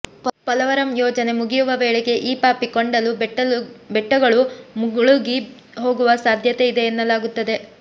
ಪೊಲವರಂ ಯೋಜನೆ ಮುಗಿಯುವ ವೇಳೆಗೆ ಈ ಪಾಪಿ ಕೊಂಡಲು ಬೆಟ್ಟಗಳು ಮುಳುಗಿ ಹೋಗುವ ಸಾಧ್ಯತೆ ಇದೆ ಎನ್ನಲಾಗುತ್ತದೆ